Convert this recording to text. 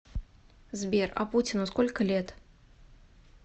сбер а путину сколько лет